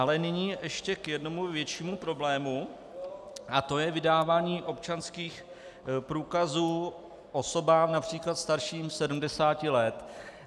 Ale nyní ještě k jednomu většímu problému a to je vydávání občanských průkazů osobám například starším 70 let.